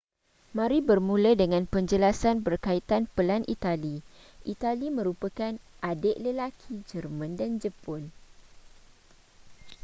mari bermula dengan penjelasan berkaitan pelan itali itali merupakan adik lelaki jerman dan jepun